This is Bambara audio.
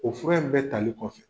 O fura in bɛɛ tali kɔfɛ